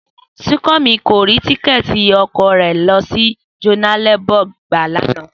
Súnkànmí k rí tíkẹ́ẹ̀tì ọkọ̀ rẹ̀ lọ sí Johannesburg gbà lánàá?